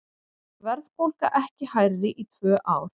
Verðbólga ekki hærri í tvö ár